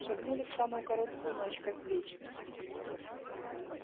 шагнули в самую короткую ночь как в вечность